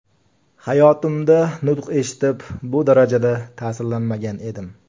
Hayotimda nutq eshitib, bu darajada ta’sirlanmagan edim.